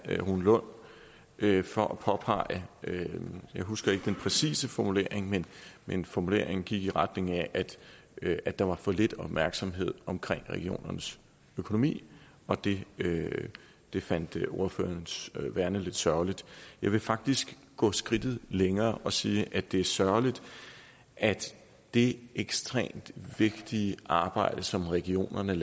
rune lund for at påpege jeg husker ikke den præcise formulering men men formuleringen gik i retning af at der var for lidt opmærksomhed omkring regionernes økonomi og det det fandt ordføreren værende lidt sørgeligt jeg vil faktisk gå skridtet længere og sige at det er sørgeligt at det ekstremt vigtige arbejde som regionerne